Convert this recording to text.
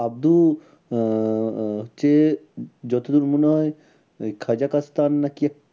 আব্দু আহ হচ্ছে যতদূর মনে হয় ওই খাজাকাস্তান না কি এক